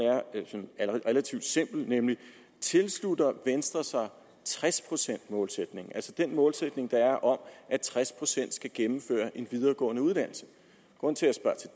er altså relativt simpelt nemlig tilslutter venstre sig tres procent målsætningen altså den målsætning der er om at tres procent skal gennemføre en videregående uddannelse grunden til at